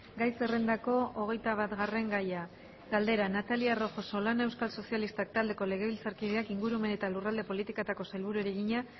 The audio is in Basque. gai zerrendako hogeitabatgarren gaia galdera natalia rojo solana euskal sozialistak taldeko legebiltzarkideak ingurumen eta lurralde politikako sailburuari egina